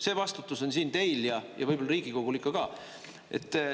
See vastutus on siin teil ja võib-olla Riigikogul ikka ka.